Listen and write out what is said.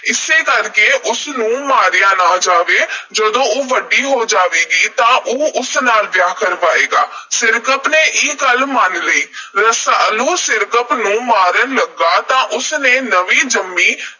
ਇਸੇ ਕਰਕੇ ਉਸ ਨੂੰ ਨਾ ਮਾਰਿਆ ਜਾਵੇ। ਜਦੋਂ ਉਹ ਵੱਡੀ ਹੋ ਜਾਵੇਗੀ ਤਾਂ ਉਹ ਉਸ ਨਾਲ ਵਿਆਹ ਕਰਵਾਏਗਾ। ਸਿਰਕੱਪ ਨੇ ਇਹ ਗੱਲ ਮੰਨ ਲਈ। ਰਸਾਲੂ ਸਿਰਕੱਪ ਨੂੰ ਮਾਰਨ ਲੱਗਾ ਤਾਂ ਉਸ ਨੇ ਨਵੀਂ ਜੰਮੀ